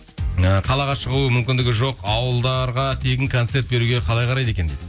і қалаға шығу мүмкіндігі жоқ ауылдарға тегін концерт беруге қалай қарайды екен дейді